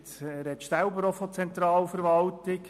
, jetzt sprechen Sie selber von der Zentralverwaltung.